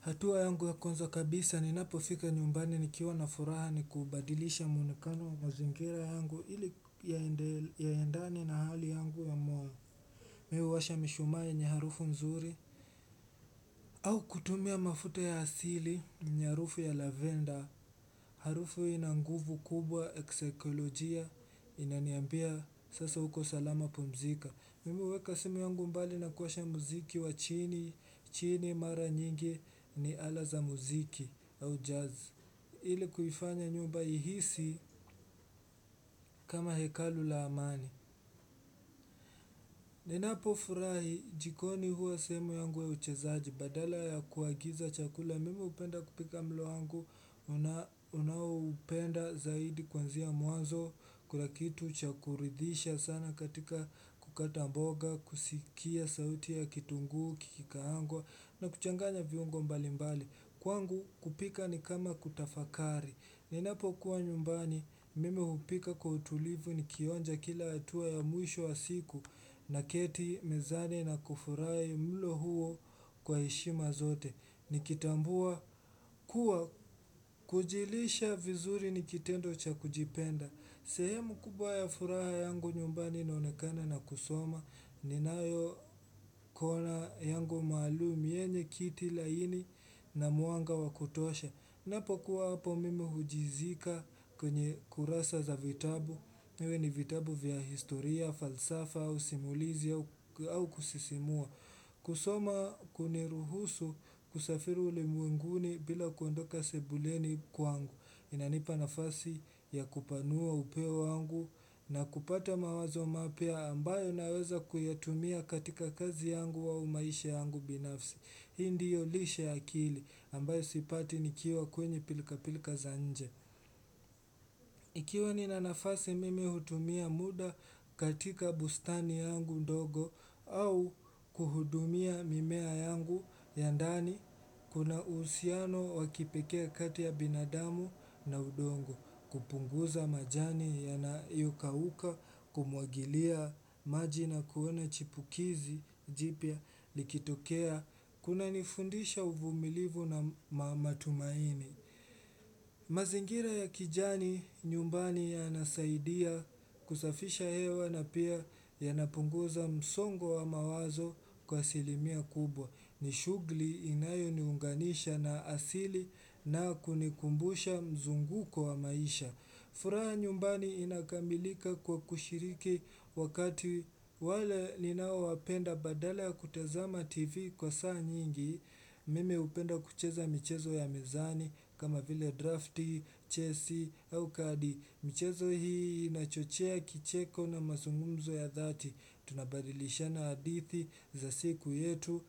Hatua yangu ya kwanza kabisa ni napofika nyumbani nikiwa na furaha ni kubadilisha mwonekano wa mazingira yangu ili yaendane na hali yangu ya mwa Mimi huwasha mishumaa yenye harufu nzuri au kutumia mafuta ya asili yenye harufu ya lavender Harufu hii inanguvu kubwa ya kisaikolojia inaniambia sasa uko salama pumzika Mimi huweka simu yangu mbali na kuwasha muziki wa chini chini mara nyingi ni ala za muziki ili kuifanya nyumba ihisi kama hekalu la amani Ninapo furahi jikoni hua sehemu yangu ya uchezaji Badala ya kuagiza chakula Mimi hupenda kupika mlowangu ninaoupenda zaidi kuanzia mwanzo Kuna kitu chakuridhisha sana katika kukata mboga kusikia sauti ya kitunguu, kiki kaangwa na kuchanganya viungo mbali mbali Kwangu kupika ni kama kutafakari ni napo kuwa nyumbani mimi hupika kwa utulivu ni kionja kila hatua ya mwisho wa siku na keti mezani na kufurahi mlo huo kwa heshima zote. Ni kitambua kuwa kujilisha vizuri ni kitendo cha kujipenda. Sehemu kubwaya furaha yangu nyumbani inaonekana na kusoma ni nayo kona yangu maalum yenye kiti laini na mwanga wakutosha. Ninapo kuwa hapo mimi hujizika kwenye kurasa za vitabu, viwe ni vitabu vya historia, falsafa, usimulizi au kusisimua. Kusoma kuniruhusu kusafiri uli mwenguni bila kuondoka sebuleni kwa angu. Inanipa nafasi ya kupanua upeo wangu na kupata mawazo mapya ambayo naweza kuyatumia katika kazi yangu au maisha yangu binafsi. Hi ndiyo lishe ya akili ambayo sipati nikiwa kwenye pilka pilka za nje. Ikiwa nina nafasi mimi hutumia muda katika bustani yangu ndogo au kuhudumia mimea yangu ya ndani kuna uhusiano wakipekee kati ya binadamu na udongo kupunguza majani yanayokauka kumwagilia maji na kuona chipukizi jipya likitokea Kuna nifundisha uvumilivu na matumaini mazingira ya kijani nyumbani ya nasaidia kusafisha hewa na pia ya napunguza msongo wa mawazo kwa asilimia kubwa Nishughuli inayo niunganisha na asili na kunikumbusha mzunguko wa maisha furaha nyumbani inakamilika kwa kushiriki wakati wale ninao wapenda badala ya kutazama TV kwa saa nyingi, mimi hupenda kucheza michezo ya mezani kama vile drafti, chesi, au kadi. Michezo hii inachochea kicheko na mazungumzo ya dhati Tunabadilisha na hadithi za siku yetu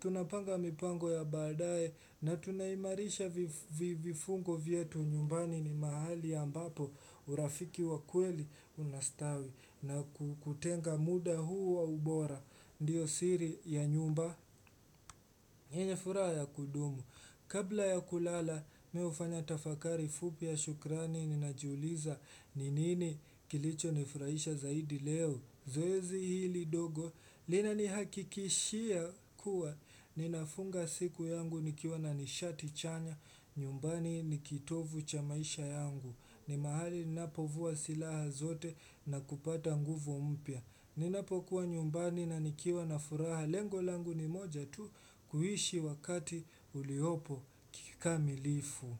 Tunapanga mipango ya baadaye na tunaimarisha vifungo vyetu nyumbani ni mahali ambapo urafiki wa kweli unastawi na kutenga muda huu wa ubora Ndiyo siri ya nyumba yenye furaha ya kudumu Kabla ya kulala mihufanya tafakari fupi ya shukrani ninajiuliza ninini kilicho nifurahisha zaidi leo zoezi hili ndogo lina nihakikishia kuwa ninafunga siku yangu nikiwa na nishati chanya nyumbani nikitovu chamaisha yangu ni mahali ninapovua silaha zote na kupata nguvu mpya ninapokuwa nyumbani na nikiwa na furaha lengo langu ni moja tu kuishi wakati uliopo kikamilifu.